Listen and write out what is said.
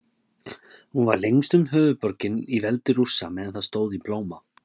Hún var lengstum höfuðborgin í veldi Rússa meðan það stóð í blóma.